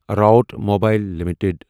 Root Mobile limited